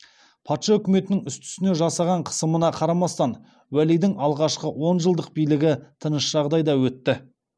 патша өкіметінің үсті үстіне жасаған қысымына қарамастан уәлидің алғашқы он жылдық билігі тыныш жағдайда өтті